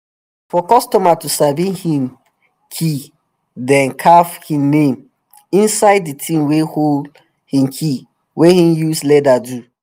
for customer to sabi hin key dem carv him name inside di ting wey hold him key wey him use leather do